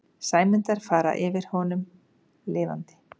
Sæmundar fara yfir honum lifandi.